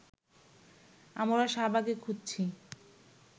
আমরা শাহবাগে খুঁজছি